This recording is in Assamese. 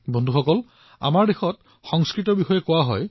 বন্ধুসকল আমাৰ ইয়াত সংস্কৃতত এষাৰ কথা কোৱা হয়